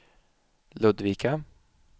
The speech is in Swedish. Ludvika